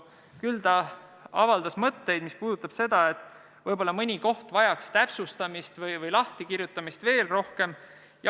Küll avaldas ta mõtteid, mis puudutasid seda, et võib-olla mõni koht vajaks täpsustamist või lahtikirjutamist veel rohkem.